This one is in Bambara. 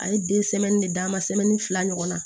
A ye den de d'a ma fila ɲɔgɔnna